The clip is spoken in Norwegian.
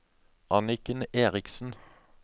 Anniken Erichsen